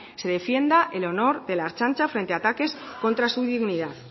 se defienda el honor de la ertzaintza frente a ataques contra su dignidad